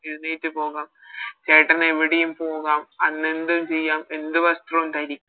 എഴുന്നേറ്റ് പോകാം ചേട്ടനെവിടെയും പോകാം അന്ന് എന്തും ചെയ്യാം എന്ത് വസ്ത്രവും ധരി